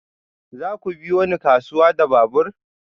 Za ku biyo ni kasuwa da babur?